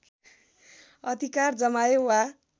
अधिकार जमाए वा